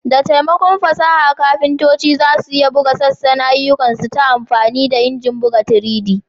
Da taimakon fasaha, kafintoci za su iya buga sassan ayyukansu ta amfani da injinan buga 3D.